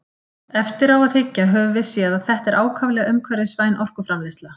Eftir á að hyggja höfum við séð að þetta er ákaflega umhverfisvæn orkuframleiðsla.